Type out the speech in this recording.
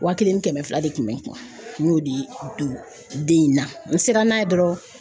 Wa kelen ni kɛmɛ fila de kun bɛ n kun y'o de di don den in na n sera n'a ye dɔrɔn